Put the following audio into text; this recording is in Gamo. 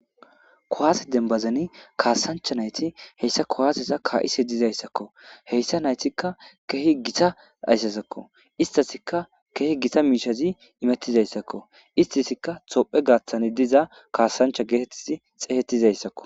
Kowaase denbazani kaasancha nayti heyssa kowaasesa ka7ise dizayssakko heyssa naytikka keehi gita ayssasakko istasikka keehi gita miishazi imettizayssakko istisikka tophe gaaththani diza kaasancha geetettizi xeehettizayssakko.